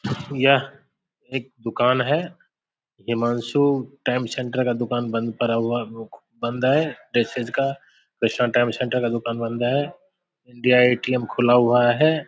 यह एक दुकान है हिमांशु टेम सेंटर का दुकान बंद पड़ा हुआ बंद है डी.आई. ए.टी.एम. खुला हुआ है।